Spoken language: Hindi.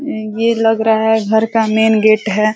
ये लग रहा है घर का मेन गेट है।